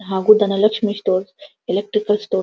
ಹಾಗು Dhanalakshmi stores electrical ಸ್ಟೋ --